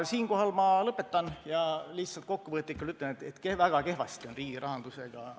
Siinkohal ma lõpetan ja lihtsalt kokkuvõtlikult ütlen, et väga kehvasti on asjad riigi rahandusega.